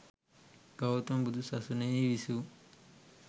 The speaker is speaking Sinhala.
ගෞතම බුදු සසුනෙහි විසූ